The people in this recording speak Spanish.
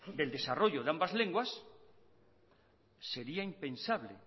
del desarrollo de ambas lenguas sería impensable